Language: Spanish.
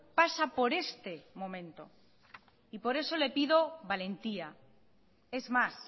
pasa por este momento y por eso le pido valentía es más